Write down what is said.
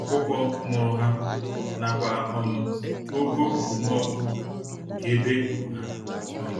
ọkụkọ mụrụ ha, nakwa um ogo okpomọkụ nke ebe ekpuru há um